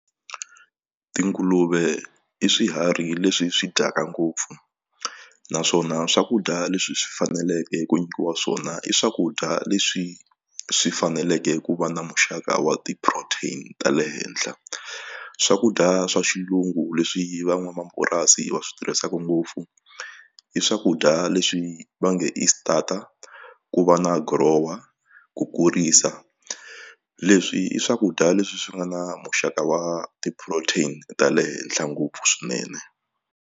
Tinguluve i swiharhi leswi swi dyaka ngopfu naswona swakudya leswi swi faneleke ku nyikiwa swona i swakudya leswi swi faneleke ku va na muxaka wa ti protein ta le henhla swakudya swa xilungu leswi van'wamapurasi va swi tirhisaka ngopfu i swakudya leswi va nge i starter ku va na grower ku kurisa leswi i swakudya leswi swi nga na muxaka wa ti-protein ta le henhla ngopfu swinene.